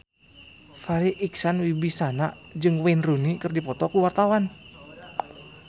Farri Icksan Wibisana jeung Wayne Rooney keur dipoto ku wartawan